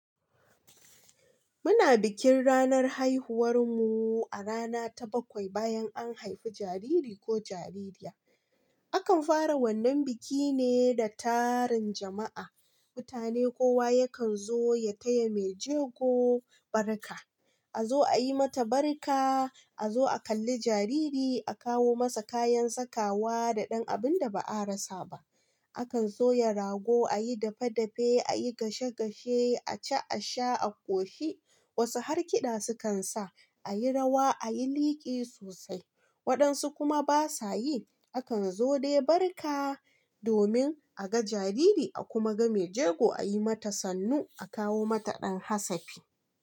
Muna bikin ranar haihuwar mu a rana ta bakwai bayan an haifi jariri ko jaririya. Akan fara wannan biki ne da taron jama'a. Mutane kowa yakan zo ya kaya mai jego barka. A zo a yi mata barka, a zo a kalla jariri, a kawo masa kayan sakawa da ɗan abun da ba a rasa ba. Akan soya rago, a yi dafe-dafe, a yi gashe-gashe, a ci, a sha, a ƙoshi. Wasu harkida sukan sa, a yi rawa, a yi liƙi sosai. Waɗansu kuma ba sa yi. Akan zo dai barka domin a ga jariri a kuma ga mai jego a yi mata sannu, a kawo mata ɗan hasafi.